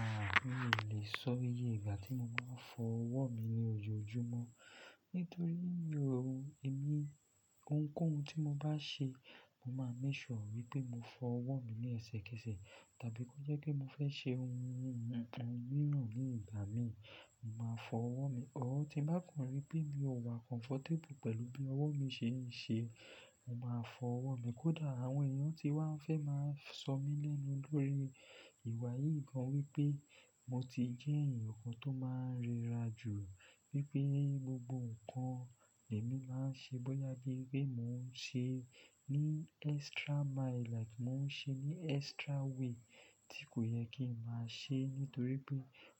Ahn, mi ò lè sọ iye ìgbà tí mo máa ń fọ ọwọ́ mi ní ojoojúmọ́ nítorí mi o hun-ìní ohunkóhun tí mo bá ṣe, mo máa ń make sure wípé mo fọ ọwọ́ mi ní ẹsẹ̀kẹsẹ̀ tàbí kí ó jẹ́ pé mo fẹ́ ṣe ohun mìíràn ní ìgbà mi, mo máa fọ ọwọ́ mi. Òó ti n bá kan rí pé mi ò wà comfortable pẹ̀lú bí ọwọ́ mi ṣe ń ṣe, mo máa fọ ọwọ́ mi. Kódà àwọn èèyàn tí wá n fẹ́ máa sọ mí lénu lórí ìwà yìí gan wípé mo ti jẹ́ ẹ̀yàn kan tó máa ń rẹra jù, wípé gbogbo nǹkan ni èmi máa ń ṣe, bóyá jẹ́ pé mò ń ṣe ní extra mile like mò ń ṣe ní extra way tí kò yẹ kí ń máa ṣe nítorí pé